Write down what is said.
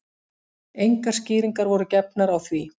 Engar skýringar voru gefnar á því